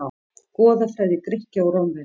Goðafræði Grikkja og Rómverja.